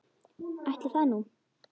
Ætli það nú.